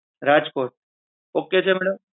Rajkot ok છે madam?